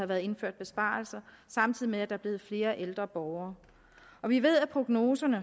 været indført besparelser samtidig med at er blevet flere ældre borgere vi ved at prognoserne